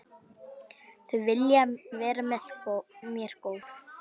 Þau vilja vera mér góð.